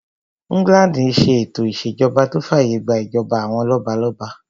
England n ṣe ètò ìṣèjọba tó fàyè gbà ìjọba àwọn lọ́balọ́ba